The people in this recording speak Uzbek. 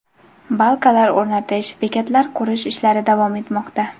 Balkalar o‘rnatish, bekatlar qurish ishlari davom etmoqda.